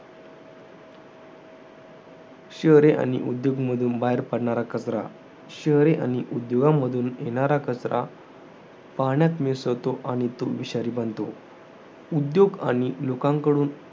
शहरे आणि उद्योग मधून बाहेर पडणारा कचरा. शहरे आणि उद्योगामधून बाहेर येणारा कचरा, पाण्यात मिसळतो आणि तो विषारी बनतो. उद्योग आणि लोकांकडून